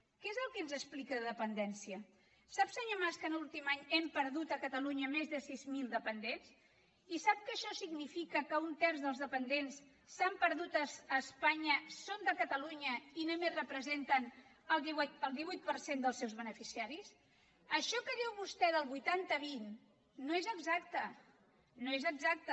què és el que ens explica de dependència sap senyor mas que l’últim any hem perdut a catalunya més de sis mil dependents i sap que això significa que un terç dels dependents que s’han perdut a espanya són de catalunya i només representen el divuit per cent dels seus beneficiaris això que diu vostè del vuitanta vint no és exacte no és exacte